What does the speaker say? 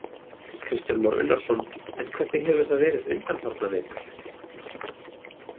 Kristján Már Unnarsson: En hvernig hefur það verið undanfarna vetur?